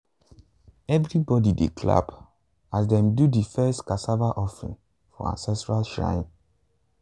everybody dey clap as dem do the first cassava offering for ancestral shrine.